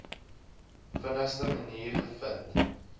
vinnigste manier gevind